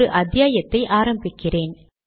ஒரு வெற்று வரியை விட்டு இருக்கிறேன்